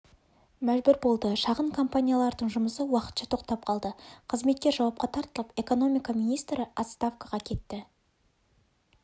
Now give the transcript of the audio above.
мәжбүр болды шағын компаниялардың жұмысы уақытша тоқтап қалды қызметкер жауапқа тартылып экономика министрі отставкаға кетті